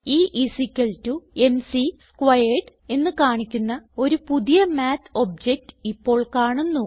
E is equal to m c squared എന്ന് കാണിക്കുന്ന ഒരു പുതിയ മാത്ത് ഒബ്ജക്ട് ഇപ്പോൾ കാണുന്നു